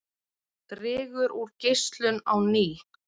Dregur úr geislun á ný